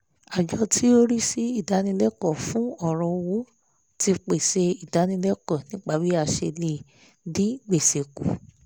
àjọ tí ó rísí ìdánilẹ́kọ̀ọ́ fún ọ̀rọ̀ owó ti pèsè ìdánilẹ́kọ̀ọ́ nípa bí a ṣe lè dín gbèsè kù